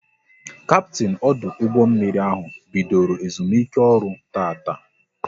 Kaptin ọdụ ụgbọ mmiri ahụ bidoro ezumike ọrụ tataa